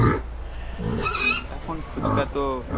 এখন ফুচকা তো